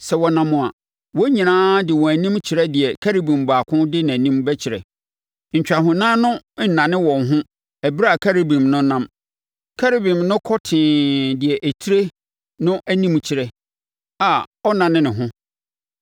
Sɛ wɔnam a, wɔn nyinaa de wɔn anim kyerɛ deɛ Kerubim baako de nʼanim bɛkyerɛ. Ntwahonan no nnane wɔn ho ɛberɛ a Kerubim no nam. Kerubim no kɔ tee deɛ etire no anim kyerɛ a ɔnnane ne ho.